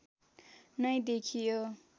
नै देखियो